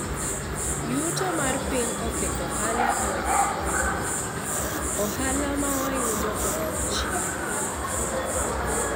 yuto mar piny oketho ohala e okang' maduong',ohala mawayudo odok chien